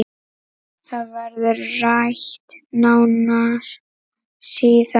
Það verður rætt nánar síðar